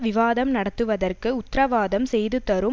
விவாதம் நடத்துவதற்கு உத்திரவாதம் செய்துதரும்